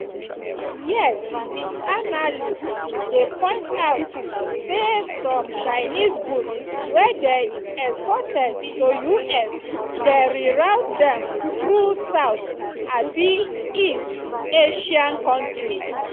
yet analysts dey point out say some chinese goods wey dey exported to us dem re-route dem through south-east asian kontris.